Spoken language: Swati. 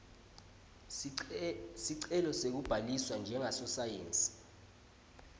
sicelo sekubhaliswa njengasosayensi